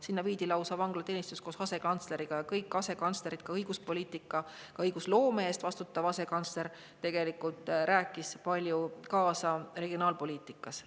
Sinna viidi lausa vanglateenistus koos asekantsleriga ja kõik asekantslerid, sealhulgas õiguspoliitika, õigusloome eest vastutav asekantsler, tegelikult rääkisid palju kaasa regionaalpoliitikas.